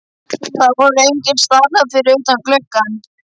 Það voru engir starrar fyrir utan gluggann.